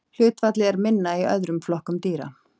Hlutfallið er minna í öðrum flokkum dýra.